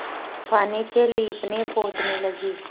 पानी से लीपनेपोतने लगी